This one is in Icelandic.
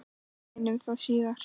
Við reyndum það síðara!